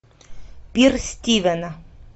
пир стивена